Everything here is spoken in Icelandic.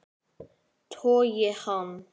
Togi hann.